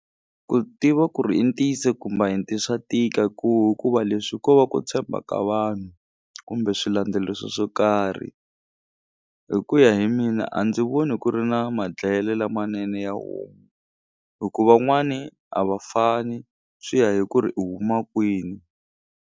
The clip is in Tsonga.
Ku tiva ku ri i ntiyiso kumbe a hi swa tika ku hikuva leswi ko va ku tshemba ka vanhu kumbe swilandzeliso swo karhi hi ku ya hi mina a ndzi voni ku ri na madlayele lamanene ya homu hi ku van'wani a va fani swi ya hi ku ri u huma kwini.